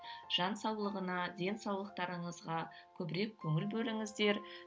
жан саулығына денсаулықтарыңызға көбірек көңіл бөліңіздер